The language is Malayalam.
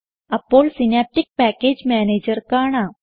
അപ്പോൾ സിനാപ്റ്റിക് പാക്കേജ് മാനേജർ കാണാം